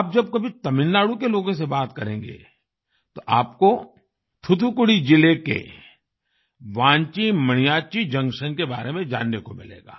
आप जब कभी तमिलनाडु के लोगों से बात करेंगे तो आपको थुथुकुडी जिले के वान्ची मणियाच्ची जंक्शन के बारे में जानने को मिलेगा